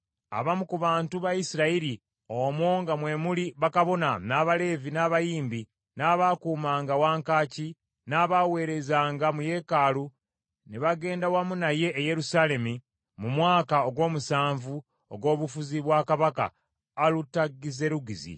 Abamu ku bantu ba Isirayiri, omwo nga mwe muli bakabona, n’Abaleevi, n’abayimbi, n’abaakuumanga wankaaki, n’abaaweerezanga mu yeekaalu, ne bagenda wamu naye e Yerusaalemi mu mwaka ogw’omusanvu ogw’obufuzi bwa kabaka Alutagizerugizi.